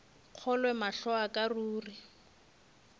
kgolwe mahlo a ka ruri